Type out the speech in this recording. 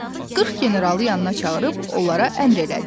O 40 generalı yanına çağırıb onlara əmr elədi.